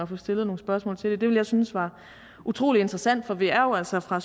få stillet nogle spørgsmål til det det ville jeg synes var utrolig interessant for vi er jo altså fra